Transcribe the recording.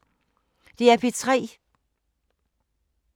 DR P3